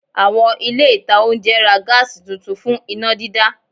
Àwọn ilé ìta oúnjẹ ra Gas tuntun fún iná dídá